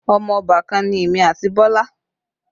Ọmọ obàkan ni èmi àti Bọlá